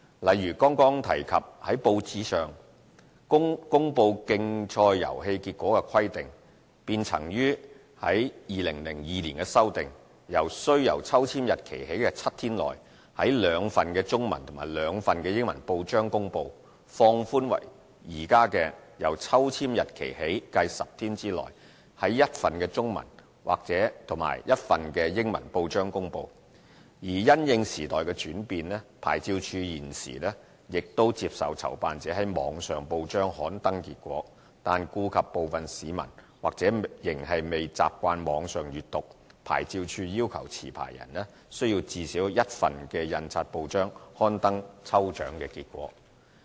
例如剛剛提及在報章上公布競賽遊戲結果的規定，便曾於2002年修訂，由"須由抽籤日期起計7天內，在兩份中文及兩份英文報章公布"，放寬為現時"由抽籤日期起計10天內，在一份中文及一份英文報章公布"；而因應時代轉變，牌照事務處現時亦接受籌辦者於網上報章刊登結果，但顧及部分市民或仍未習慣網上閱報，牌照事務處要求持牌人須在最少一份印刷報章刊登抽獎結果。